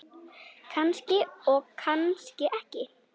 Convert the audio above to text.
Kannski og kannski ekki.